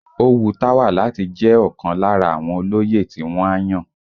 Ó wu Táwà láti jẹ́ ọ̀kan lára àwọn olóyè tí wọ́n á yàn